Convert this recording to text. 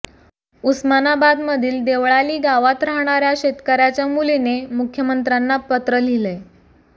उस्मानाबादमधील देवळाली गावात राहणाऱ्या शेतकऱ्याच्या मुलीने मुख्यमंत्र्यांना पत्र लिहिलंय